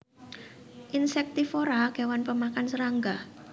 Insektivora kewan pemakan serangga